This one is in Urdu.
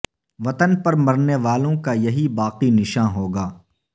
وطن پر مرنے والوں کا یہی باقی نشاں ہوگا